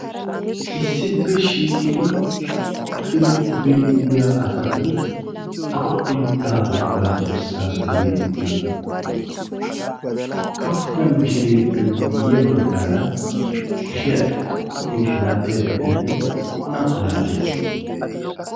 issippe shiiqqidi hookkidi duriididiyo asati awa biittaa wogaa dorssaa durididiyoona hookka oottida mishireeppe guyye baggaara kushiyaa xoqqooti malaatiya bitanee oona malaatii